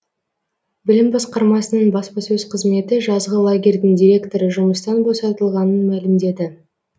білім басқармасының баспасөз қызметі жазғы лагерьдің директоры жұмыстан босатылғанын мәлімдеді